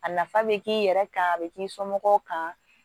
A nafa bɛ k'i yɛrɛ kan a bɛ k'i somɔgɔw kan